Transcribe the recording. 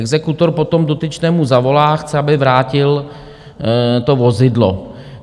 Exekutor potom dotyčnému zavolá, chce, aby vrátil to vozidlo.